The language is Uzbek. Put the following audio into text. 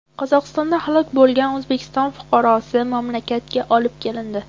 Qozog‘istonda halok bo‘lgan O‘zbekiston fuqarosi mamlakatga olib kelindi.